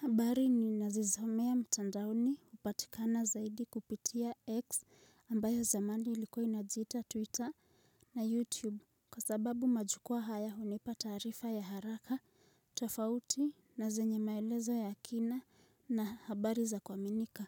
Habari ninazosomea mtandaoni hupatikana zaidi kupitia X ambayo zamani ilikua inajiita Twitter na YouTube Kwa sababu majukua haya hunipa taarifa ya haraka, tofauti na zenye maelezo ya kina na habari za kuaminika